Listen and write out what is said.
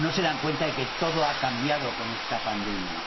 No se dan cuenta de que todo ha cambiado con esta pandemia.